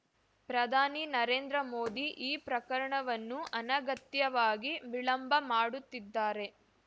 ಪ್ರಧಾನಿ ನರೇಂದ್ರ ಮೋದಿ ಈ ಪ್ರಕರಣವನ್ನು ಅನಗತ್ಯವಾಗಿ ವಿಳಂಬ ಮಾಡುತ್ತಿದ್ದಾರೆ